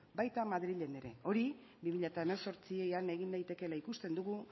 baita madrilen ere hori bi mila hemezortzian egin daitekeela ikusten dugu